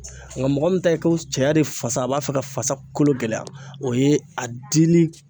Nka mɔgɔ min ta ye ko cɛya de fasa a b'a fɛ ka fasa kolo gɛlɛya o ye a dili